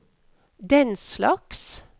denslags